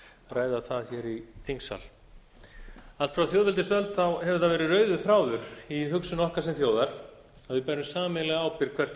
ræða það hér í þingsal allt frá þjóðveldisöld hefur það verið rauður þráður i hugsun okkar sem þjóðar að við verum sameiginlega ábyrgð hvert á